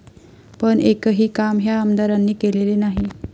पण एकही काम ह्या आमदारांनी केलेले नाही.